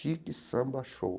Chique Samba Show.